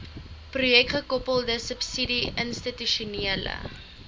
projekgekoppelde subsidie institusionele